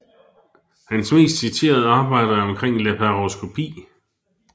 Hans mest citerede arbejder er omkring laparoskopi